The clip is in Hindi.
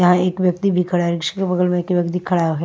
यहां एक व्यक्ति भी खड़ा है बगल में एक व्यक्ति खड़ा है।